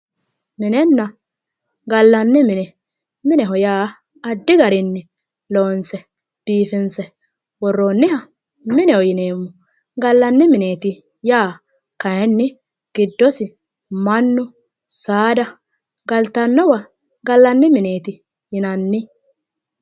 Minenna gallanni mine mineho yaa addi garinni loonse biifinsse woroonniha galanni mineetti yinanni mineho yaa kayinni gidossi mannu saada babaxinori galanno mineetti yaate